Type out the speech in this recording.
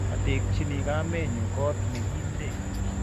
atekchino kamenyu koot me kinde